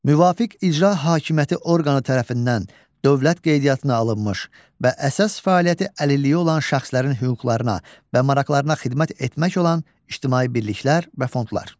Müvafiq icra hakimiyyəti orqanı tərəfindən dövlət qeydiyyatına alınmış və əsas fəaliyyəti əlilliyi olan şəxslərin hüquqlarına və maraqlarına xidmət etmək olan ictimai birliklər və fondlar.